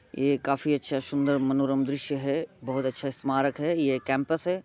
यह काफी अच्छा सुन्दर मनोरम दृश्य है बहुत अच्छा स्मारक है ये केम्पस है।